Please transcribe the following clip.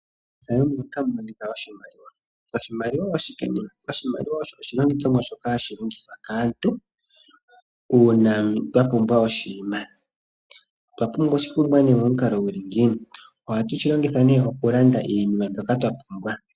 Oshimaliwa osho oshilongithomwa shoka hashi longithwa kaantu uuna yapumbwa oshinima shontumba. Aantu uuna yahala oshinima shontumba ohaya gandja oshimaliwa opo yapewe oshinima shoka yahala.